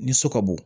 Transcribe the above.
Ni so ka bo